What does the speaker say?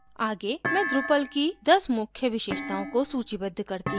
आगे मैं drupal की 10 मुख्य विशेषताओं को सूचीबद्ध करती हूँ